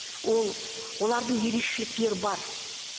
ол олардың ерекшеліктері бар